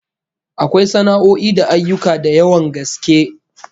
Akwai sana'o'i da ayyuka da yawan gaske